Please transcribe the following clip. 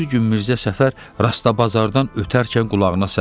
Bir gün Mirzə Səfər Rastabazardan ötərkən qulağına səs gəldi.